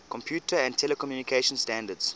computer and telecommunication standards